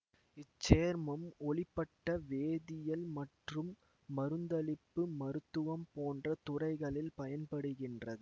இச்சேர்மம் ஒளிப்பட வேதியல் மற்றும் மருந்தளிப்பு மருத்துவம் போன்ற துறைகளில் பயன்படுகிறது